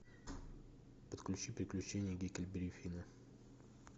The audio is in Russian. подключи приключения гекльберри финна